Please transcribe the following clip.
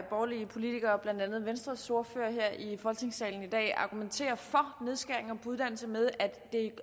borgerlige politikere blandt andet venstres ordfører her i folketingssalen i dag argumentere for nedskæringer på uddannelser med